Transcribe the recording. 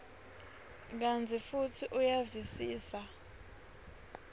kantsi futsi uyavisisa